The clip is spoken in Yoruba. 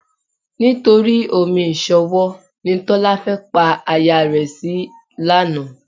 Nítorí omi ìṣanwọ́ ni Tọ́lá fẹ́ pa aya rẹ̀ sí lánàá.